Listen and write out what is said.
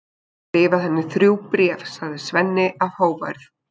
Ég hef nú bara skrifað henni þrjú bréf, segir Svenni af hógværð.